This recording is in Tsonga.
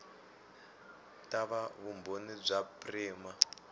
ta va vumbhoni bya prima